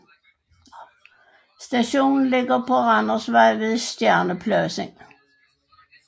Stationen ligger på Randersvej ved Stjernepladsen